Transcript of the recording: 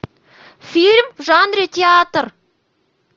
фильм в жанре театр